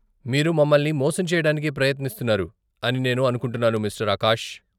మీరు మమల్ని మోసం చెయ్యడానికి ప్రయత్నిస్తున్నారు అని నేను అనుకుంటున్నాను మిస్టర్ ఆకాష్.